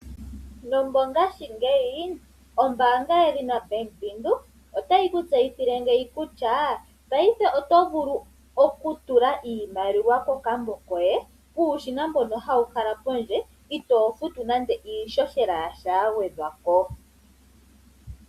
Nomongaashi ngeyi ombanga yedhina bank windheok otayi ku tseyithile ngeyi kutya payife oto vulu okutula iimaliwa kokambo koye puushina mbono hawu kala podje ito futu nande iishoshela yasha ya gwedhwapo.